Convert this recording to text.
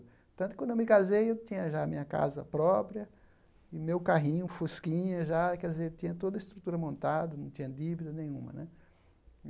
Tanto que, quando eu me casei, eu tinha já a minha casa própria e o meu carrinho, um Fusquinha, já, quer dizer, tinha toda a estrutura montada, não tinha dívida nenhuma né.